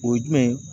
O ye jumɛn ye